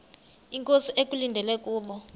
inkosi ekulindele kubo